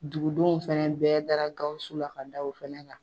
Dugudenw fɛnɛ bɛɛ dara Gawusu la ka da o fɛnɛ kan.